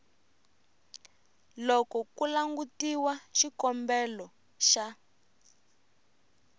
loko ku langutiwa xikombelo xa